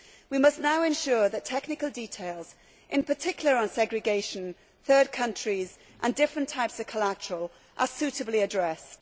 We must now ensure that technical details, in particular on segregation, third countries and different types of collateral, are suitably addressed.